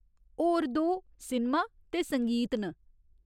होर दो सिनमा ते संगीत न।